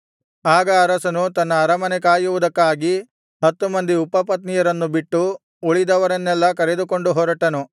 ಆಗ ಅರಸನು ತನ್ನ ಅರಮನೆ ಕಾಯುವುದಕ್ಕಾಗಿ ಹತ್ತು ಮಂದಿ ಉಪಪತ್ನಿಯರನ್ನು ಬಿಟ್ಟು ಉಳಿದವರನ್ನೆಲ್ಲಾ ಕರೆದುಕೊಂಡು ಹೊರಟನು